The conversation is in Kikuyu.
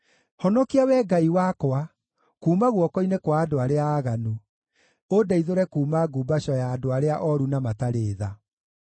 Honokia, Wee Ngai wakwa, kuuma guoko-inĩ kwa andũ arĩa aaganu, ũndeithũre kuuma ngumbaco ya andũ arĩa ooru na matarĩ tha.